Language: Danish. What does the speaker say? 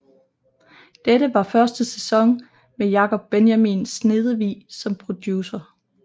Dette var første sæson med Jacob Benjamin Snedevig som producer